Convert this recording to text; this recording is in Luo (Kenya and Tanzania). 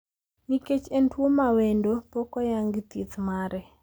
Nikech en tuo mawendo, pok oyangi thieth mare.